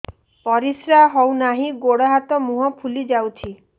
ପରିସ୍ରା ହଉ ନାହିଁ ଗୋଡ଼ ହାତ ମୁହଁ ଫୁଲି ଯାଉଛି